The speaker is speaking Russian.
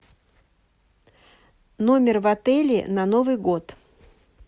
номер в отеле на новый год